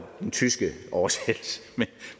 den tyske oversættelse